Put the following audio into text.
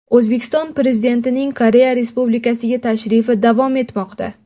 O‘zbekiston Prezidentining Koreya Respulikasiga tashrifi davom etmoqda.